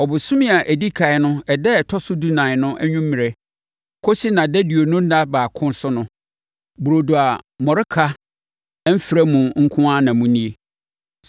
Ɔbosome a ɛdi ɛkan no ɛda a ɛtɔ so dunan no anwummerɛ kɔsi nʼadaduonu ɛda baako so no, burodo a mmɔreka mfra mu nko ara na monni.